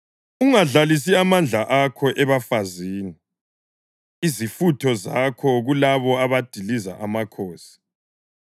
ungadlalisi amandla akho ebafazini, izifutho zakho kulabo abadiliza amakhosi.